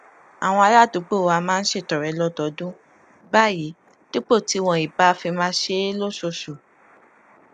àwọn aládùúgbò wa máa ń ṣètọrẹ lódọọdún báyìí dípò tí wọn ì bá fi máa ṣe é lóṣooṣù